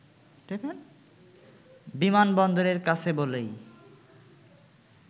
বিমানবন্দরের কাছে বলেই